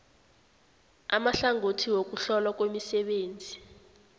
amahlangothi wokuhlolwa kwemisebenzi